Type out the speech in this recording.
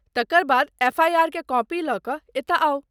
तकर बाद एफआइआरकेँ कॉपी लऽ कऽ एतय आउ।